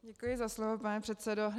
Děkuji za slovo, pane předsedo.